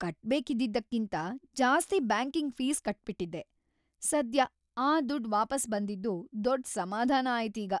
ಕಟ್ಬೇಕಿದ್ದಿದ್ದಕ್ಕಿಂತ ಜಾಸ್ತಿ banking fees ಕಟ್ಬಿಟಿದ್ದೆ, ಸದ್ಯ ಆ ದುಡ್ಡ್ ವಾಪಸ್ ಬಂದಿದ್ದು ದೊಡ್ಡ್‌ ಸಮಾಧಾನ ಆಯ್ತ್ ಈಗ.